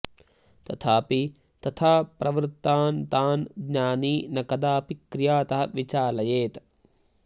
तथापि तथा प्रवृत्तान् तान् ज्ञानी न कदापि क्रियातः विचालयेत्